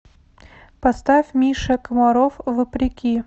поставь миша комаров вопреки